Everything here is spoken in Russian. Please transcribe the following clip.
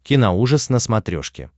киноужас на смотрешке